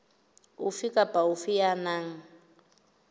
ofe kapa ofe ya nang